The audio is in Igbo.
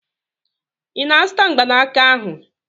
Ị na-azụta mgbanaka ahụ?